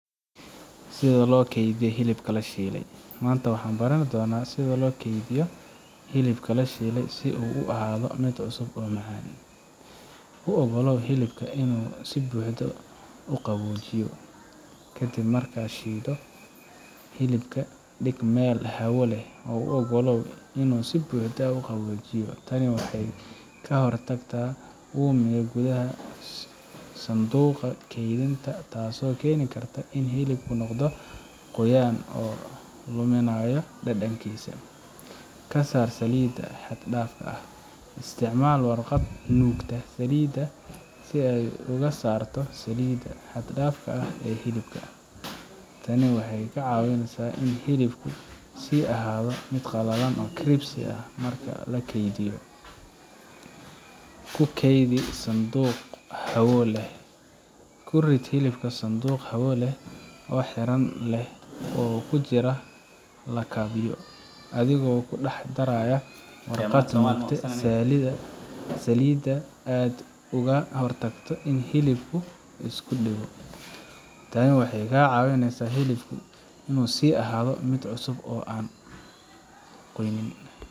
Sida Loo Keydiyo Hilibka La Shiilay, Maanta waxaan baran doonaa sida loo keydiyo hilibka la shiilay si uu u sii ahaado cusub oo macaan. U oggolow hilibka inuu si buuxda u qaboojiyo Ka dib markaad shiilto hilibka, dhig meel hawo leh oo u oggolow inuu si buuxda u qaboojiyo. Tani waxay ka hortagtaa uumiga gudaha sanduuqa keydinta, taasoo keeni karta in hilibku noqdo qoyan oo luminayo dhadhankiisa. Ka saar saliidda xad dhaafka ah Isticmaal warqad nuugta saliidda si aad uga saarto saliidda xad-dhaafka ah ee hilibka. Tani waxay ka caawisaa in hilibku sii ahaado qalalan oo crispy ah marka la kaydiyo. Ku kaydi sanduuq hawo xiran leh Ku rid hilibka sanduuq hawo xiran leh oo ku jira lakabyo, adigoo u dhaxaynaya warqad nuugta saliidda si aad uga hortagto in hilibku isku dhego. Tani waxay ka caawinesaa in hilibku sii ahaado cusub oo aan qoyanayn.